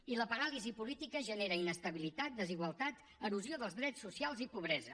i la paràlisi política genera inestabilitat desigualtat erosió dels drets socials i pobresa